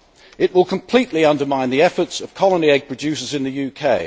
It will completely undermine the efforts of colony egg producers in the UK.